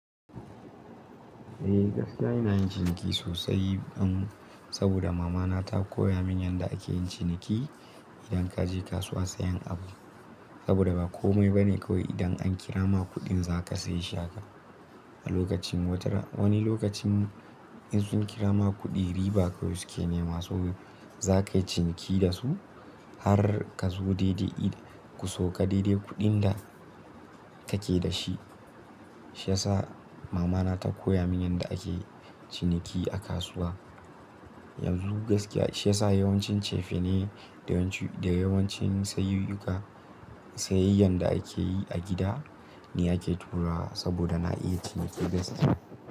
Eh gaskiya ina yin ciniki sosai an saboda mamana ta koya min yadda ake yin ciniki idan ka je kasuwa sayen abu. Saboda ba komai ba ne kawai idan an kira ma kuɗin za ka sayi shaka. A lokacin wata wani lokacin in sun kira ma kuɗi riba kawai suke nema so za ka yi ciniki da su har ka zo daidai ku sauka daidai kuɗin da ka ke da shi. Shi ya sa mamana ta koya min yadda akeyi ciniki a kasuwa. Yanzu gaskiya shi ya sa yawancin cefane da yawancin sayuyuka sayayyan da ake yi a gida ne ake turawa saboda na iya ciniki gaskiya.